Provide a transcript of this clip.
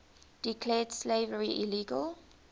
declared slavery illegal